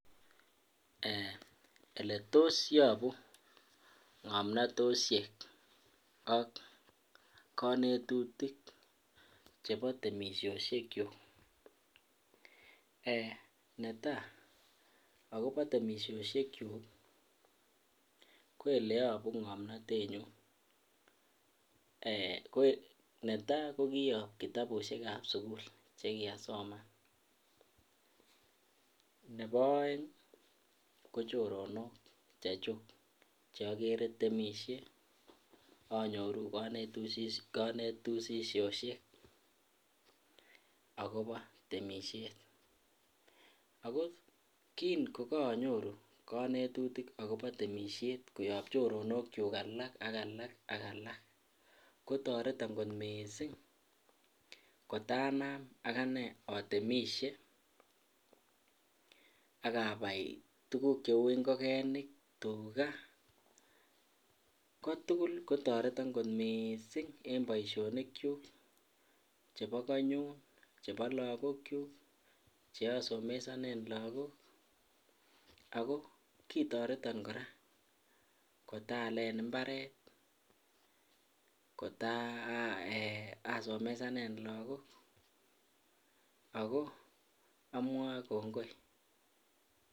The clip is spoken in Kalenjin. Ole tos yobu ngomnotosiek ak kanetutik chebo temisiosyekyuk netai akobo temisiosyekyuk ko ole yobu ngomnatenyu ko netai ko kiyob kitabusiek ab sukul Che kiasoman nebo aeng ko choronok chechuk Che agere temisie anyoru kanetisiet agobo temisiet ago kin ko anyoruu kanetutik agobo temisiet koyob choronokyuk alak ak alak kotoreton kot mising kotanam aganee atemisie ak abai tuguk cheu ngokenik tuga ko tugul kotoreton kot mising en boisionikyuk chebo konyun chebo lagokyuk Che asomesanen lagok ako ki toreton kora kot aalen mbaret kot asomesanen lagok ako amwae kongoi